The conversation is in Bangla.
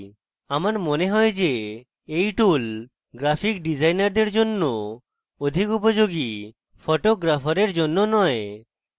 আমার মনে হয় যে এই tool graphic ডিজাইনারদের জন্য অধিক উপযোগী photographers জন্য নয়